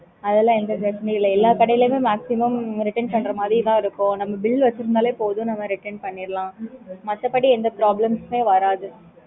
அதெல்லாம் எந்த பிரெச்சனையுமே இல்ல எல்லா கடைலயும் maximum return பண்ணுற மாதிரி தான் இருக்கும் நம்ம bill வெச்சுருந்தாலே போதும் நம்ம return பண்ணிக்கலாம் மத்தபடி எந்த problems உம் வராது